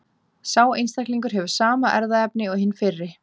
Sá einstaklingur hefur sama erfðaefni og hinn fyrri.